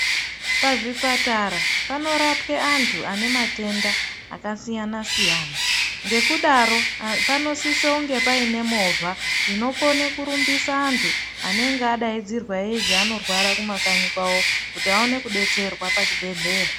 Pazvipatara panorapwe antu ane matenda akasiyana-siyana. Ngekudaro panosisonge paine movha, inokone kurumbisa antu, anenge adaidzirwa eizi anorwara kumakanyi kwavo, kuti aone kudetserwa pazvibhedhleya.